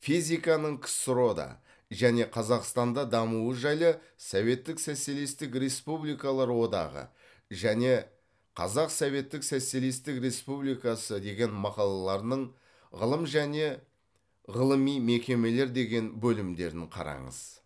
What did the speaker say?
физиканың ксро да және қзақстанда дамуы жайлы советтік социалистік республикалар одағы және қазақ советтік социалистік республикасы деген мақалалардың ғылым және ғылыми мекемелер деген бөлімдерін қараңыз